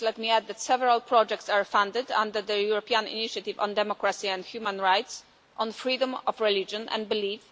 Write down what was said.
Let me add that several projects are funded under the European Initiative on Democracy and Human Rights, on freedom of religion and belief